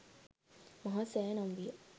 මහා සෑය නම් විය.